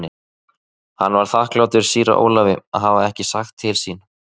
Hann var þakklátur síra Ólafi að hafa ekki sagt til sín.